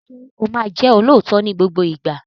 Ṣé o máa jẹ́ olóòótọ́ ní gbogbo ìgbà?